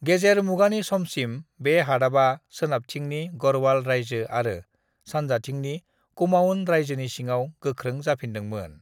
गेजेर मुगानि समसिम बे हादाबा सोनाबथिंनि गढ़वाल रायजो आरो सानजाथिंनि कुमाऊन रायजोनि सिङाव गोख्रों जाफिन्दोंमोन।